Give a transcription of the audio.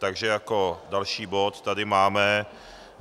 Takže jako další bod tady máme